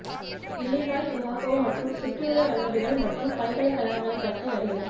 Illinois Chicago மற்றும் சுற்றியுள்ள கல்லூரிகள் மற்றும் பல்கலைக்கழகங்களைப் பற்றி அறியவும்